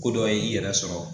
Ko dɔ ye i yɛrɛ sɔrɔ